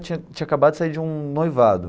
Tinha tinha acabado de sair de um noivado.